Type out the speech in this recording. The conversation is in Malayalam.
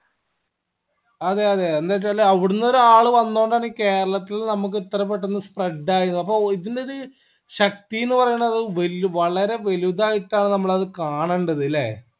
അതെ അതെ എന്തെചാല് അവിടിന്ന് ഒരാള് വന്നോണ്ടാണ് ഈ കേരളത്തിൽ നമ്മക്ക് ഇത്ര പെട്ടന്ന് spread ആയത് അപ്പൊ ഇതിന്റെ ഒരു ശക്തിന്ന് പറയണത് വല്ല വളരെ വലുതായിട്ടാണ് നമ്മള് അത് കാണണ്ടത് ലെ